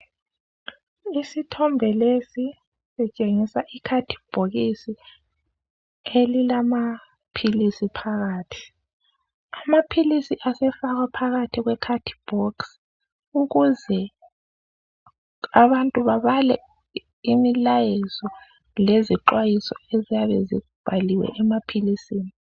Isithombe lesi sitshengisa ikhadibhokisi elilamaphilisi phakathi. Amaphilisi asefakwa phakathi kwekhadibhokisi, ukuze abantu babale imilayezo lezixhwayiso eziyabe zibhaliwe emaphilisini.